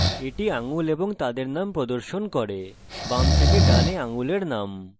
এটি আঙ্গুল এবং তাদের names প্রদর্শন করে names থেকে ডানে আঙ্গুলের names